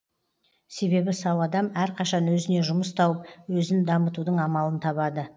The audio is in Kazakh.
себебі сау адам әрқашан өзіне жұмыс тауып өзін дамытудың амалын табады